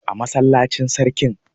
a masallacin sakin